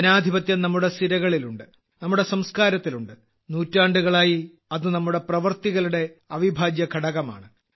ജനാധിപത്യം നമ്മുടെ സിരകളിൽ ഉണ്ട് നമ്മുടെ സംസ്കാരത്തിലുണ്ട് നൂറ്റാണ്ടുകളായി അത് നമ്മുടെ പ്രവർത്തികളുടെ അവിഭാജ്യഘടകമാണ്